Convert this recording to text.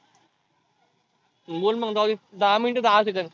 बोल मग जाऊदे. दहा minute दहा सेकंद.